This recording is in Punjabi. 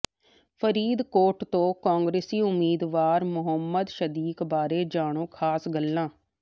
ਫਰੀਦਕੋਟ ਤੋਂ ਕਾਂਗਰਸੀ ਉਮੀਦਵਾਰ ਮੁਹੰਮਦ ਸਦੀਕ ਬਾਰੇ ਜਾਣੋ ਖਾਸ ਗੱਲਾਂ